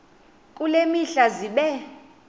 kule mihla zibe